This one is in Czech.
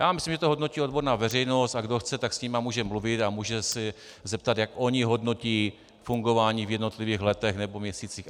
Já myslím, že to hodnotí odborná veřejnost, a kdo chce, tak s nimi může mluvit a může se zeptat, jak oni hodnotí fungování v jednotlivých letech nebo měsících.